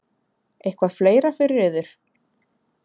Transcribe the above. Eitthvað fleira fyrir yður?